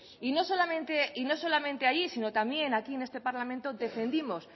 y no solamente ahí sino también aquí en este parlamento las defendimos